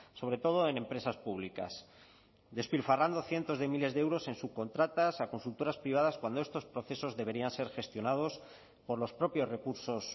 sobre todo en empresas públicas despilfarrando cientos de miles de euros en subcontratas a consultoras privadas cuando estos procesos deberían ser gestionados por los propios recursos